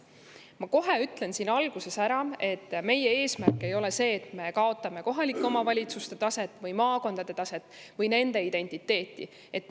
Ma ütlen kohe alguses ära, et meie eesmärk ei ole see, et me kohalike omavalitsuste või maakondade taset või kaotame nende identiteeti.